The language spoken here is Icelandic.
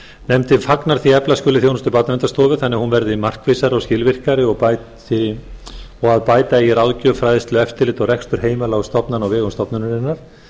nefndin fagnar því að efla skuli þjónustu barnaverndarstofu þannig að hún verði markvissari og skilvirkari og að bæta eigi ráðgjöf fræðslu eftirlit og rekstur heimila og stofnana á vegum stofnunarinnar